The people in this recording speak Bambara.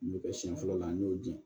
N bɛ kɛ siɲɛ fɔlɔ la n y'o di